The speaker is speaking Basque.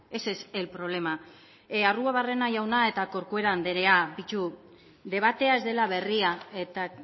ese es el problema arruabarrena jauna eta corcuera andrea begiratu debatea ez dela berria eta